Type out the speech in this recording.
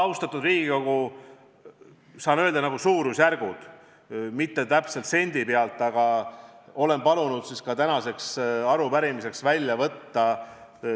Austatud Riigikogu, mina saan öelda suurusjärgud, mitte sendi täpsusega summad, aga olen palunud need arvud tänase arupärimise jaoks välja võtta.